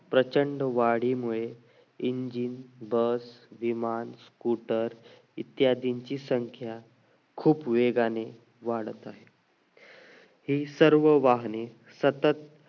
प्रचंड वाढीमुळे engine bus विमान scooter इत्यादींची संख्या खूप वेगाने वाढत आहे हि सर्व वाहने सतत